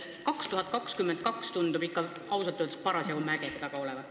Aasta 2022 tundub ikka lausa mägede taga olevat.